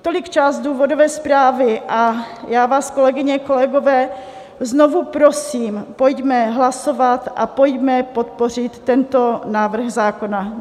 Tolik část důvodové zprávy a já vás, kolegyně, kolegové, znovu prosím, pojďme hlasovat a pojďme podpořit tento návrh zákona.